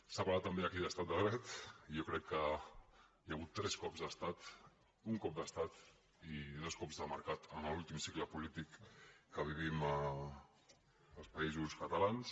s’ha parlat també aquí d’estat de dret i jo crec que hi ha hagut tres cops d’estat un cop d’estat i dos cops de mercat en l’últim cicle polític que vivim els països catalans